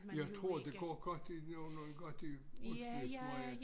Jeg tror det går godt det gør noget godt i Østermarie